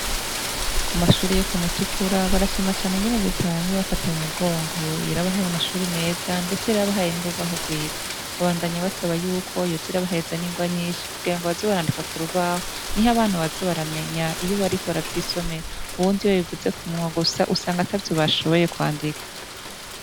Ku mashuri yo ku Mutukura barashima cane ingene reta yama ibafata mu mugongo, yarabahaye amashuri meza ndetse yarabahaye n'urubaho rwiza, babandanya basaba yuko yoza irabahereza n'ingwa nyinshi kugira ngo baze barandika ku rubaho niho abana baza baramenya iyo bariko baravyisomera, ubundi iyo ubivuze ku munwa gusa usanga atavyo bashoboye kwandika.